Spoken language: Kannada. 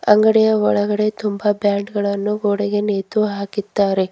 ಅಂಗಡಿಯ ಒಳಗಡೆ ತುಂಬ ಬ್ಯಾಂಡ್ ಗಳನ್ನು ಗೋಡೆಗೆ ನೇತು ಹಾಕಿದ್ದಾರೆ.